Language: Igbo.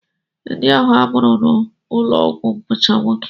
Ndị ahụ a mụrụ n'ụlọọgwụ bụcha nwoke